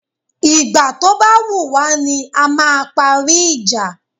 Ìgbà tó ba wùwá ni a máa parí ìjà